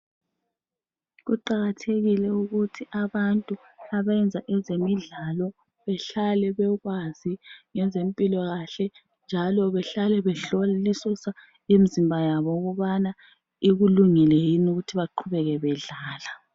Kuqakathekile ukuthi abantu abayenza ezemidlalo behlale bekwazi ngezempilakahle njalo behlale behlolisisa imzimba yabo ukubana ikulungele yini ukuthi baqhubeke bedlala.